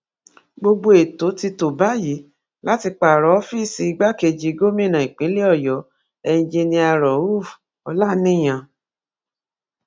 gbogbo ètò ti tó báyìí láti pààrọ ọfíìsì igbákejì gómìnà ìpínlẹ ọyọ enjinia rauf olaniyan